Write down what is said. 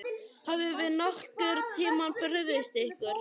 Höfum við nokkurn tímann brugðist ykkur?